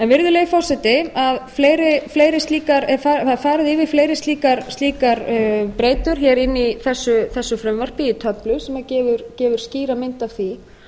virðulegi forseti það er farið yfir fleiri slíkar breytur hér inni í virðulegi forseti það er farið yfir fleiri slíkar breytur hér inni í þessu frumvarpi í töflu sem gefur skýra mynd af því